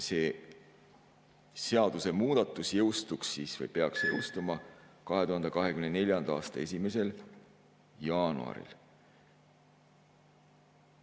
" See seadusemuudatus jõustuks või peaks jõustuma 2024. aasta 1. jaanuaril.